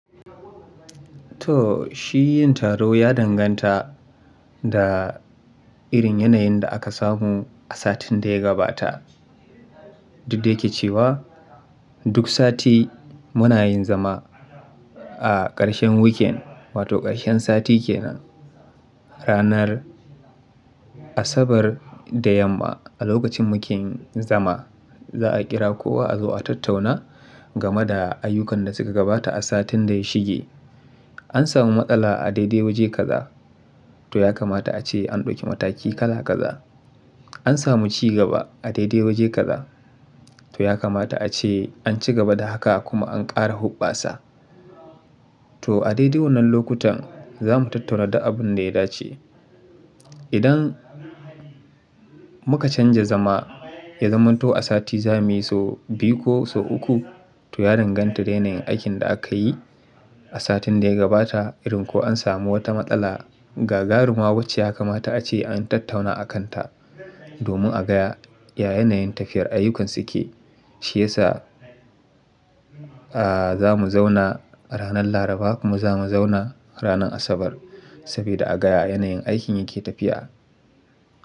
To shi yin taro ya danganta da irin yanayin da aka samu a satin da ya gabata. Duk da yake cewa duk sati muna yin zama a ƙarshen weekend wato ƙarshen sati kenan ranar Asabar da yamma a lokacin mu ke zama za a kira kowa a zo a tattauna game da ayyukan da suka gabata a satin da ya shige. An samu matsala a daidai waje kaza to ya kamata ace an ɗauki mataki kala kaza. An samu ci gaba a daidai waje kaza to ya kamata ace an ci gaba da haka kuma an ƙara hubbasa. To a daidai wannan lokutan zamu tattauna duk abun da ya dace. Idan muka canza zama ya zamanto a sati zamuyi so biyu ko so uku to ya danganta da yanayin aikin da akayi a satin da ya gabata irin ko an samu wata matsala gagaruma wacce ya kamata ace an tattauna akan ta domin a gaya ya yanayin tafiyar ayyukansu ke shi yasa a zamu zauna ranar Laraba kuma zamu zauna ranar Asabar saboda a gaya yanayin aikin yake tafiya.